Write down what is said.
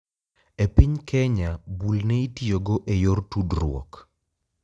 E piny Kenya bul ne itiyogo e yor tudruok.